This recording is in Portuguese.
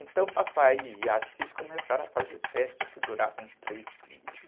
Então papai e Assis começaram a fazer festa que duravam três dias.